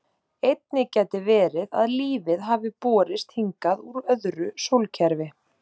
Einnig gæti verið að lífið hafi borist hingað úr öðru sólkerfi.